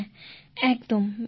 হ্যাঁ একদম